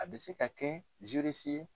A bɛ se ka kɛ ye.